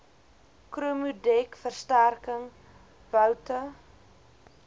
chromodek versterking boute